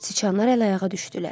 Siçanlar əl-ayağa düşdülər.